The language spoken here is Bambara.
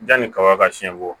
Yanni kaba ka siɲɛ bɔ